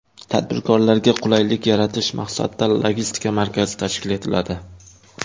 Tadbirkorlarga qulaylik yaratish maqsadida logistika markazi tashkil etiladi.